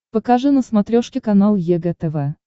покажи на смотрешке канал егэ тв